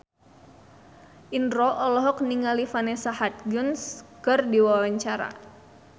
Indro olohok ningali Vanessa Hudgens keur diwawancara